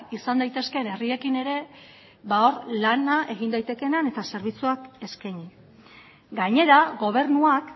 izan daitezkeen herriekin ere hor lana egin daitekeenean eta zerbitzuak eskaini gainera gobernuak